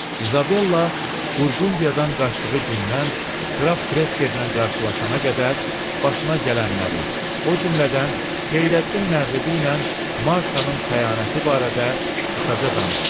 İzabella Burqundiyadan qaçdığı gündən qraf Krekerlə qarşılaşana qədər başına gələnləri, o cümlədən Xeyrəddin Məğribi ilə Martanın xəyanəti barədə qısaca danışdı.